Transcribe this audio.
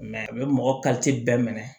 a bɛ mɔgɔ bɛɛ minɛ